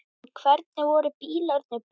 En hvernig voru bílarnir búnir?